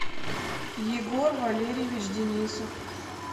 егор валерьевич денисов